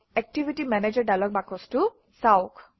activity manager dialog বাকচটো চাওক